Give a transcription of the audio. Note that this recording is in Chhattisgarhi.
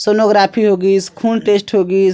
सोनोग्राफी होगिस खून टेस्ट होगिस ।